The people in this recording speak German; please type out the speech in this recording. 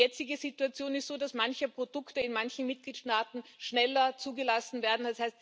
Die jetzige Situation ist so, dass manche Produkte in manchen Mitgliedstaaten schneller zugelassen werden.